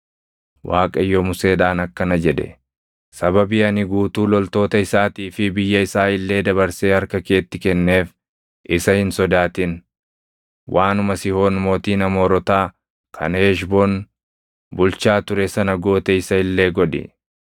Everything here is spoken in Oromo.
Waaqayyo Museedhaan akkana jedhe; “Sababii ani guutuu loltoota isaatii fi biyya isaa illee dabarsee harka keetti kenneef isa hin sodaatin. Waanuma Sihoon mootiin Amoorotaa kan Heshboon bulchaa ture sana goote isa illee godhi.”